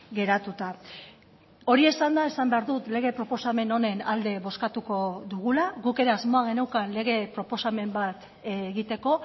geratuta hori esanda esan behar dut lege proposamen honen alde bozkatuko dugula guk ere asmoa geneukan lege proposamen bat egiteko